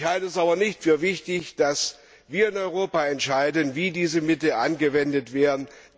Ich halte es aber nicht für wichtig, dass wir in Europa entscheiden, wie diese Mittel angewendet werden.